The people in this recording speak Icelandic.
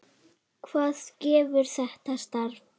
Hvað gefur þetta starf?